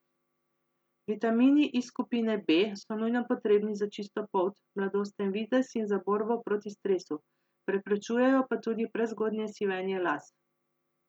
Vitamini iz skupine B so nujno potrebni za čisto polt, mladosten videz in za borbo proti stresu, preprečujejo pa tudi prezgodnje sivenje las.